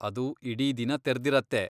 ಅದು ಇಡೀ ದಿನ ತೆರ್ದಿರತ್ತೆ.